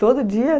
Todo dia?